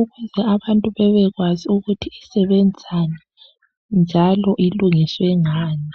ukuze abantu bebekwazi ukuthi isebenzani njalo bebekwazi ukuthi iyenzwe ngani.